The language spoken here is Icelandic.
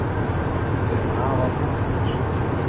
Við erum afar ánægðir